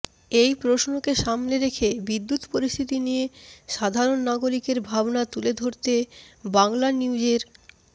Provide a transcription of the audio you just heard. এই প্রশ্নকে সামনে রেখে বিদ্যুৎ পরিস্থিতি নিয়ে সাধারণ নাগরিকের ভাবনা তুলে ধরতে বাংলানিউজের